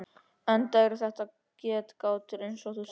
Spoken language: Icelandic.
Enda eru þetta getgátur eins og þú segir.